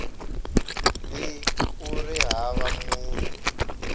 b ku ri hava munhu